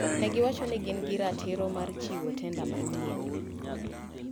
Negiwacho ni gin gi ratiro mar chiwo tenda moro manyien.